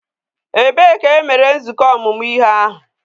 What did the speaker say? Ebee ka e mere nzukọ ọmụmụ ihe ahụ?